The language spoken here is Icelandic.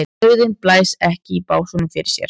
Dauðinn blæs ekki í básúnum fyrir sér.